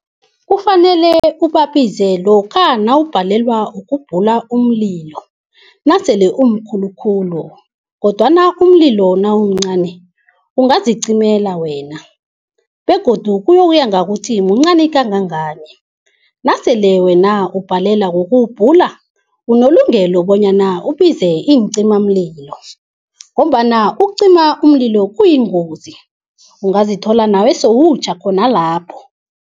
Kufanele ubabize lokha nawubhalelwa ukubhula umlilo, nasele umkhulukhulu. Kodwana umlilo nawumncani ungazicimela wena begodu kuyokuya ngokuthi mncani kangangani. Nasele wena ubhalelwa kuwubhula unelungelo bonyana ubize iincimamlilo ngombana ukucima umlilo kuyingozi, ungazithola nawe sowutjha khona lapho.